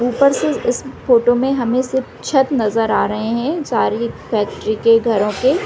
ऊपर से इस फोटो में सिर्फ छत नज़र आ रहे है सारी सरे फैक्ट्री के घरों के--